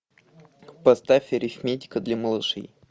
поставь арифметика для малышей